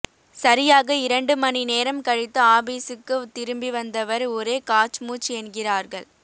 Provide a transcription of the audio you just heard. சரியாக இரண்டு மணி நேரம் கழித்து ஆபிசுக்கு திரும்பி வந்தவர் ஒரே காச்மூச் என்கிறார்கள்